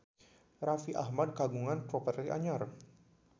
Raffi Ahmad kagungan properti anyar